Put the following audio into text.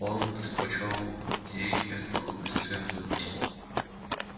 он предпочёл ей эту бесцветную